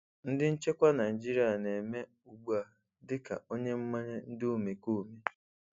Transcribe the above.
Ndị nchekwa Naịjirịa na-eme ugbu a dị ka onye mmanye ndị omekome.